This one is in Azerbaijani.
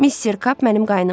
Mister Kap mənim qaynımdır.